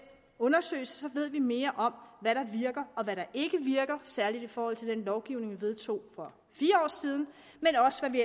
undersøgelse ved vi mere om hvad der virker og hvad der ikke virker særlig i forhold til den lovgivning vi vedtog for fire år siden men også hvad vi